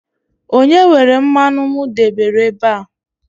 onye were mmanụ m debere ebe a?